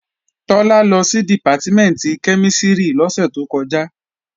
Tọ́lá lọ sí Dìpátímẹ̀ntì kẹ́mísìrì lọ́sẹ̀ tó kọjá